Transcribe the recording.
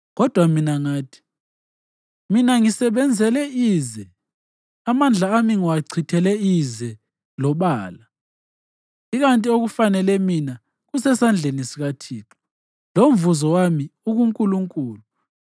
Kodwa mina ngathi, “Mina ngisebenzele ize; amandla ami ngiwachithele ize lobala, ikanti okufanele mina kusesandleni sikaThixo, lomvuzo wami ukuNkulunkulu.”